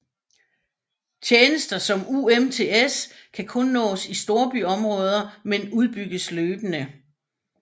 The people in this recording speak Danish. Tjenester som UMTS kan kun nås i storbyområder men udbygges løbende